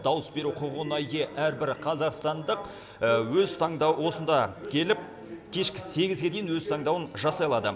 дауыс беру құқығына ие әрбір қазақстандық өз таңдауы осында келіп кешкі сегізге дейін өз таңдауын жасай алады